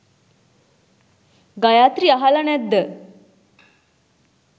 ගයත්‍රි අහලා නැද්ද